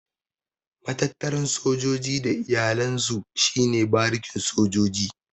Matattaran sojoji da iyalan su shi ne barikin sojoji.